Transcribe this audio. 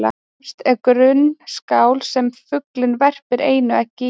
Efst er grunn skál sem fuglinn verpir einu eggi í.